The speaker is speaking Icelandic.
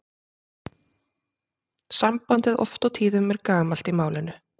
Sambandið oft og tíðum er gamalt í málinu.